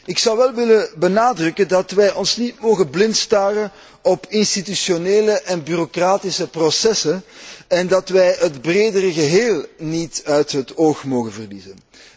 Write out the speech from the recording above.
Ik zou wel willen benadrukken dat wij ons niet blind mogen staren op institutionele en bureaucratische processen en dat wij het bredere geheel niet uit het oog mogen verliezen.